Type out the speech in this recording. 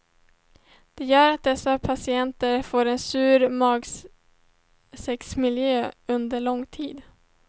Det gör att dessa patienter får en sur magsäcksmiljö under lång tid.